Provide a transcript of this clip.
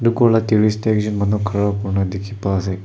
Ghor la terrace dae ekjun manu khara kurina dekhe pa ase.